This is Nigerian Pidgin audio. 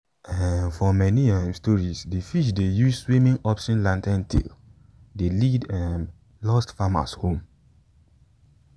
um for many um stories de fish dey use swimming upstream lantern tale dey lead um lost farmers home.